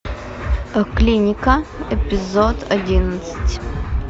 клиника эпизод одиннадцать